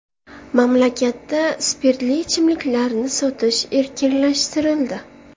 Mamlakatda spirtli ichimliklarni sotish erkinlashtirildi .